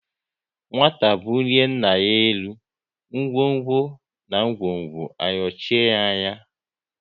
Nwata bulie nna ya elu, ngwo ngwo na ngwongwo ayochie ya anya